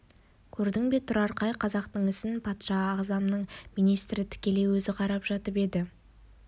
көрдің бе тұрар қай қазақтың ісін патша ағзамның министрі тікелей өзі қарап жатып еді